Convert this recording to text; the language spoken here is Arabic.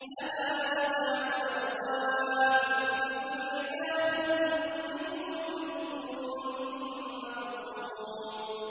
لَهَا سَبْعَةُ أَبْوَابٍ لِّكُلِّ بَابٍ مِّنْهُمْ جُزْءٌ مَّقْسُومٌ